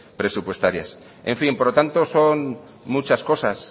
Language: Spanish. presupuestarias en fin por lo tanto son muchas cosas